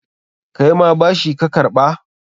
Kaima bashi ka karɓa?